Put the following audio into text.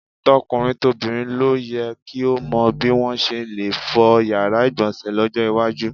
To̩kùnrin tobìnrin ló ye̩ ki ó mo̩ bí wo̩n s̩e le fo̩ yàrá ìgbò̩nsè̩ ló̩jó̩ iwájú.